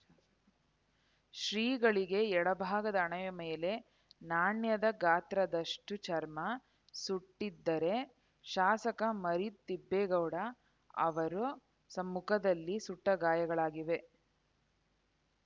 ಶ್ರೀಗಳಿಗೆ ಎಡಭಾಗದ ಹಣೆಯ ಮೇಲೆ ನಾಣ್ಯದ ಗಾತ್ರದಷ್ಟುಚರ್ಮ ಸುಟ್ಟಿದ್ದರೆ ಶಾಸಕ ಮರಿತಿಬ್ಬೇಗೌಡ ಅವರ ಸ ಮುಖದಲ್ಲಿ ಸುಟ್ಟಗಾಯಗಳಾಗಿವೆ